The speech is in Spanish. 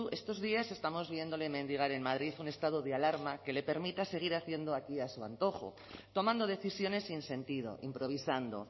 estos días estamos viéndole mendigar en madrid un estado de alarma que le permita seguir haciendo aquí a su antojo tomando decisiones sin sentido improvisando